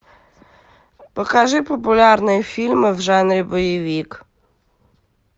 покажи популярные фильмы в жанре боевик